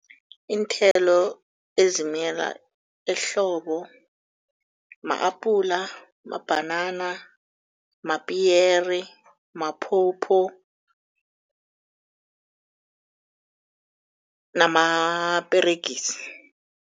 Iinthelo ezimila ehlobo ma-apula, mabhanana, mapiyeri, maphopho namaperegisi.